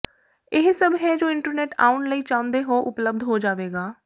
ਇਹ ਸਭ ਹੈ ਜੋ ਇੰਟਰਨੈੱਟ ਆਉਣ ਲਈ ਚਾਹੁੰਦੇ ਹੋ ਲਈ ਉਪਲਬਧ ਹੋ ਜਾਵੇਗਾ